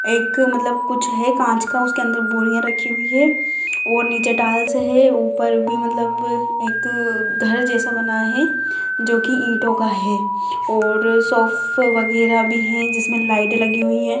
एक मतलब कुछ है कांच का उसके अंदर बोरिया रखी हुई है और नीचे टाइल्स है ऊपर भी मतलब एक घर जैसा बना है जो की ईंटों का है और सोफ़े वगेरा भी है जिसमे लाइटे लगी हुई है।